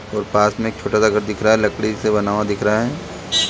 और पास में एक छोटा सा घर दिख रहा है लकड़ी से बना हुआ दिख रहा है।